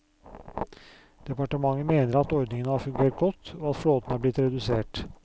Departementet mener at ordningen har fungert godt, og at flåten er blitt redusert.